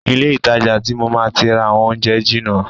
Ilé ìtajà ti mo máa ti rà àwọn oúnjẹ jìnà.